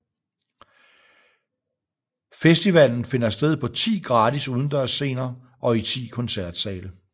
Festivalen finder sted på 10 gratis udendørs scener og i 10 koncertsale